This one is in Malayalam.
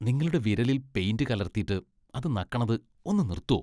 നിങ്ങളുടെ വിരലിൽ പെയിന്റ് കലർത്തിട്ട് അത് നക്കണത് ഒന്ന് നിർത്തോ.